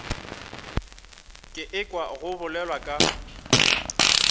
ke ekwa go bolelwa ka